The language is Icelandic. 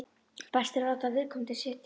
Best er að láta viðkomandi setjast.